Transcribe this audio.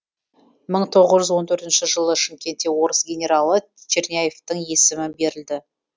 мың тоғыз жүз он төртінші жылы шымкентте орыс генералы черняевтің есімі берілді